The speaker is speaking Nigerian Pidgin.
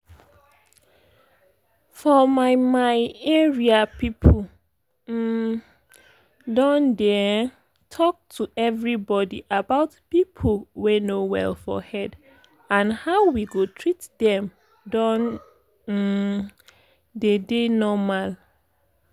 for my my area people um don dey um talk to everybody about people wey no well for head and how we go treat them don um deydey normal.